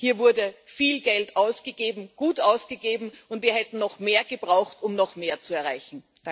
Das heißt Hier wurde viel Geld ausgegeben, gut ausgegeben, und wir hätten noch mehr gebraucht, um noch mehr zu erreichen.